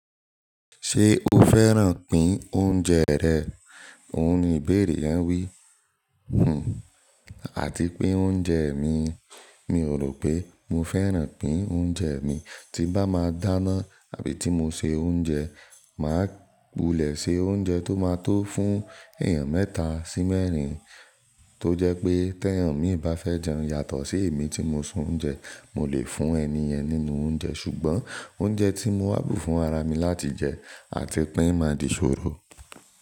“Ṣé o fẹ́ràn pín oúnjẹ rẹ?” òhun ni ìbéèrè yẹn wí. Hmm àti pín oúnjẹ mi, mi ò rò pé mo fẹ́ràn pín oúnjẹ mi. Tí bá máa dáná àbí tí mo se oúnjẹ, màá gbulẹ̀ se oúnjẹ tó máa tó fún èèyàn mẹ́ta sí mẹ́rin tó jẹ́ pé tẹ́ èèyàn míì bá fẹ́ jẹun yàtọ̀ sí èmi tí mo se oúnjẹ, mo lè fún ẹni ẹ̀ nínú oúnjẹ. Ṣùgbọ́n oúnjẹ tí mo wà bú fún ara mi láti jẹ àti pín máa di ṣòro.